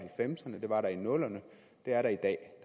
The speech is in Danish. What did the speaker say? var der i nullerne det er der i dag